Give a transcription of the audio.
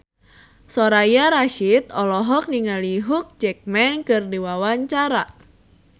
Soraya Rasyid olohok ningali Hugh Jackman keur diwawancara